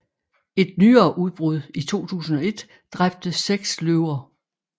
Et nyere udbrud i 2001 dræbte seks løver